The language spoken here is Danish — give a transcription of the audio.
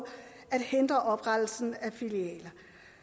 at hindre oprettelsen af filialer